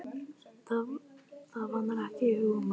Það vantar ekki hugmyndaflugið!